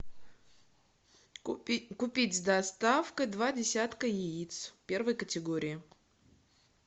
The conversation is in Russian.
купить с доставкой два десятка яиц первой категории